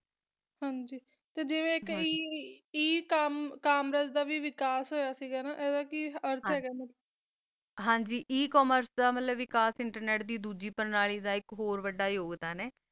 ਹਨ ਜੀ ਜੀਵਾ ਕਾ ਏ ਕੋਮੇਰਾੱਸ ਦਾ ਵੀ ਦਾ ਵੀ ਵਕ਼ਾਸ ਹੋਆ ਸੀ ਹ ਗਾ ਹਨ ਜੀ ਏ ਕਾਮਰਸ ਦਾ ਵੀ ਵਕ਼ਾਸ ਇੰਟਰਨੇਟ ਦੀ ਡੋਜੀ ਵਕ਼ਾਸ ਨਾਲ ਹ ਗਾ ਆ ਬੋਹਤ ਵਾਦਾ ਯੋਉਘ੍ਤ੍ਦਾਂ ਆ